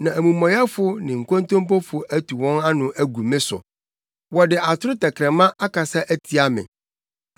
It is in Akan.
na amumɔyɛfo ne nkontompofo atu wɔn ano agu me so; wɔde atoro tɛkrɛma akasa atia me.